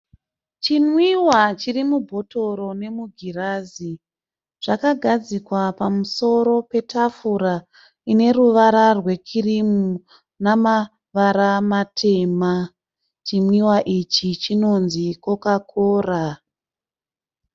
Chimwiwa chiri mubhotoro nemugirazi zvakagadzikwa pamusoro petafura ine ruvara rwekirimu nemarava matema. Chimwiwa ichi chinonzi (Coca-cola).